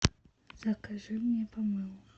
закажи мне помело